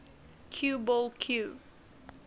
cue ball cue